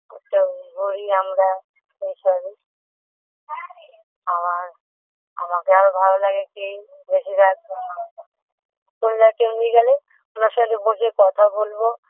ওটা আমরা শেষ হবে আবার আমাকে আরও ভালো লাগে কি বেশিরভাগ সময় তোমরা কেউ নিয়ে গেলে তোমার সঙ্গে বসে কথা বলবো